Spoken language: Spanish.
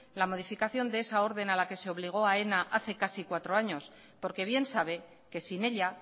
la modificación de esa orden a la que se le obligo aena hace casi cuatro años porque bien sabe que sin ella